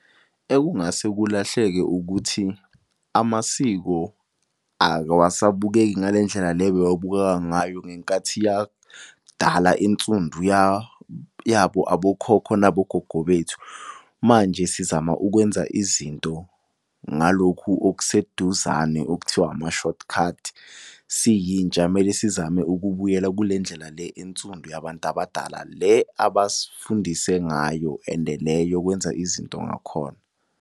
Ekungase kulahleke ukuthi amasiko awasabukeki ngale ndlela le bewabukeka ngayo ngenkathi yakudala ensundu , yabo abokhokho nabogogo bethu. Manje sizama ukwenza izinto ngalokhu okuseduzane okuthiwa ama-short cut. Siyintsha kumele sizame ukubuyela kule ndlela le ensundu yabantu abadala le abasifundise ngayo and le yokwenza izinto ngakhona.